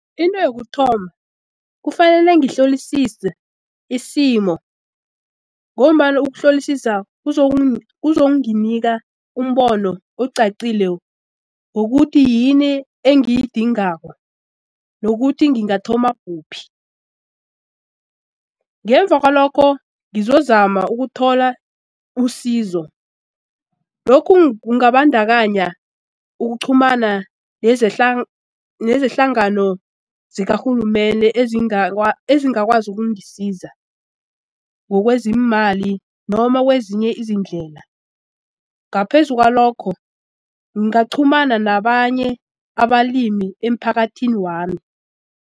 Into yokuthoma kufanele ngihlolisise isimo ngombana ukuhlolisisa kuzonginika umbono ocacile ngokuthi yini engiyidingako nokuthi ngingathoma kuphi ngemva kwalokho ngizozama ukuthola usizo. Lokhu kungabadakanya ukuqhumana nezehlangano zikarhulumende ezingakwazi ukungisiza ngokweziimali noma kwezinye izindlela. Ngaphezu kwalokho ngingaqhumana nabanye abalimi emphakathini wami.